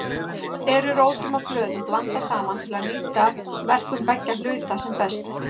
Oft eru rótum og blöðum blandað saman til að nýta verkun beggja hluta sem best.